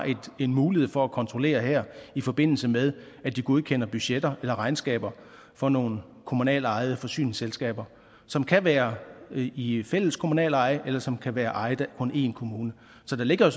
mulighed for at kontrollere det her i forbindelse med at de godkender budgetter eller regnskaber for nogle kommunalt ejede forsyningsselskaber som kan være i i fælles kommunaleje eller som kan være ejet af kun en kommune så der ligger